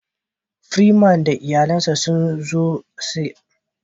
"Freeman " da iyalen shi sun zo ziyara ya " boutique" na giya.